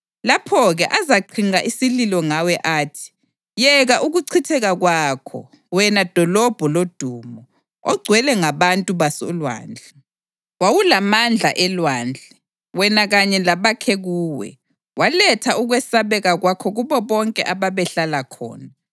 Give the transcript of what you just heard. Lapho-ke azaqhinqa isililo ngawe athi kuwe: ‘Yeka ukuchitheka kwakho, wena dolobho lodumo, ogcwele ngabantu basolwandle! Wawulamandla elwandle wena kanye labakhe kuwe; waletha ukwesabeka kwakho kubo bonke ababehlala khona.